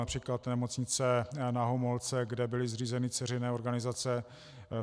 Například Nemocnice Na Homolce, kde byly zřízeny dceřiné organizace.